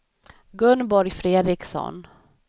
Gunborg Fredriksson